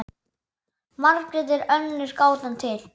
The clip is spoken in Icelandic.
Margrét er önnur gátan til.